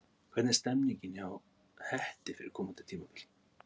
Hvernig er stemningin hjá Hetti fyrir komandi tímabil?